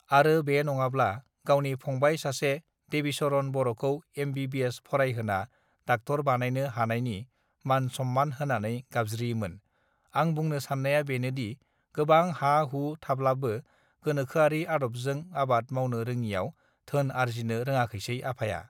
आरो बे नङाब्ला गावनि फंबाय सासे देबिचरन बरखौ एमबिबिएस फरायहोना डाक्टर बानायनो हानायनि मान सन्मान होनानै गाबज्रियोमोन आं बुंनो साननाया बेनोदि गोबां हा हु थाब्लाबो गोनोखोआरि आदबजों आबाद मावनो रोङियाव धोन आर्जिनो रोङाखैसै आफाया